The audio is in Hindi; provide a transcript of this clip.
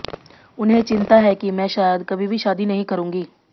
उन्हें चिंता है कि मैं शायद कभी भी शादी नहीं करूंगी